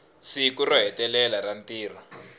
siku ro hetelela ra ntirho